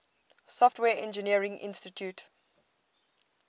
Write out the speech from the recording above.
software engineering institute